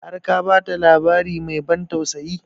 Har ka ba ta labari mai ban tausayi?